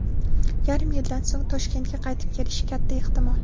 Yarim yildan so‘ng Toshkentga qaytib kelishi katta ehtimol.